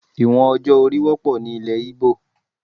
Ìwọ̀n ọjọ́ orí wọ́pọ̀ ni ilẹ̀ Igbo.